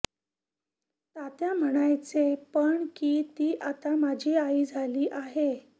तात्या म्हणायचे पण की ती आता माझी आई झाली आहे